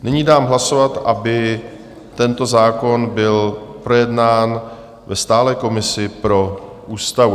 Nyní dám hlasovat, aby tento zákon byl projednán ve stálé komisi pro ústavu.